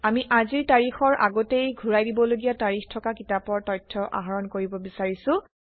আমি আজিৰ তাৰিখৰ আগতেই ঘূৰাই দিবলগীয়া তাৰিখ থকা কিতাপৰ তথ্য আহৰণ কৰিব বিচাৰিছোঁ